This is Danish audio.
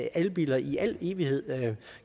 elbiler i al evighed